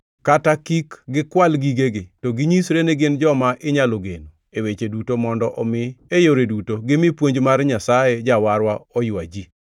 kata kik gikwal gigegi, to ginyisre ni gin joma inyalo geno e weche duto mondo omi e yore duto gimi puonj mar Nyasaye Jawarwa oywa ji.